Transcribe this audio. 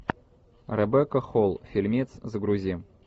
ребекка холл фильмец загрузи